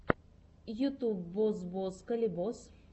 ютьюб бос бос калибос